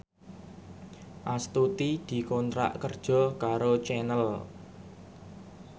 Astuti dikontrak kerja karo Channel